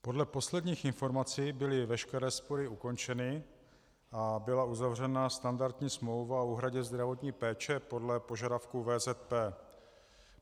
Podle posledních informací byly veškeré spory ukončeny a byla uzavřena standardní smlouva o úhradě zdravotní péče podle požadavků VZP.